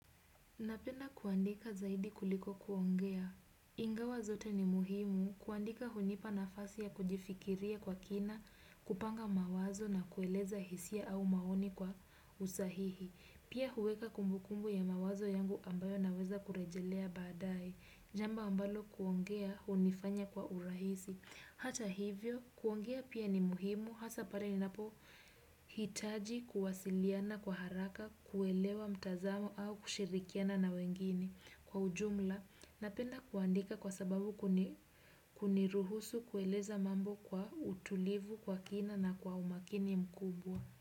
Napenda kuandika zaidi kuliko kuongea. Ingawa zote ni muhimu kuandika hunipa nafasi ya kujifikiria kwa kina, kupanga mawazo na kueleza hisia au maoni kwa usahihi. Pia huweka kumbukumbu ya mawazo yangu ambayo naweza kurejelea baadae. Jambo ambalo kuongea hunifanya kwa urahisi. Hata hivyo, kuongea pia ni muhimu, hasa pale ni napo hitaji kuwasiliana kwa haraka, kuelewa mtazamo au kushirikiana na wengine kwa ujumla na penda kuandika kwa sababu kuniruhusu kueleza mambo kwa utulivu kwa kina na kwa umakini mkubwa.